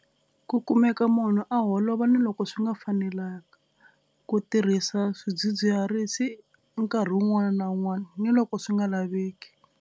Ku kumeka munhu a holova ni loko swi nga fanelanga. Ku tirhisa swidzidziharisi nkarhi wun'wana na wun'wana ni loko swi nga laveki.